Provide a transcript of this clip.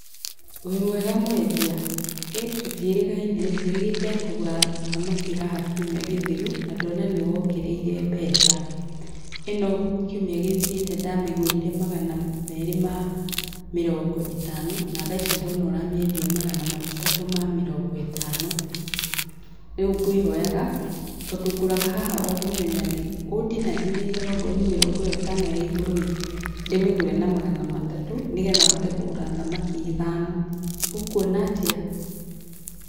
Wĩ mwega mwendia? Hĩ tũtiĩrĩgaine, njĩrĩgĩte kũgũra thamaki haha kiumia gĩthiru, na ndĩrona nĩ wongereire mbeca. ĩno, kiumia gĩthirĩte ndamĩgũrire magana merĩ ma mĩrongo ĩtano, na tha ici ndona ũramĩendia magana matatu ma mĩrongo ĩtano. Rĩu ngwĩhoyaga tondũ ngũraga haha o mũthenya rĩ, ũndinandinĩrie ona ũkorwo nĩ mĩrongo ĩyo itano ya igũrũĩ, ndĩmĩgũre na magana matatũ nĩgetha hote kũgũra thamaki ithano, ũkũona atĩa?